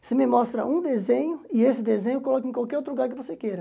Você me mostra um desenho e esse desenho eu coloco em qualquer outro lugar que você queira.